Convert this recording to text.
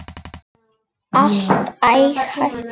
Allt ágætt.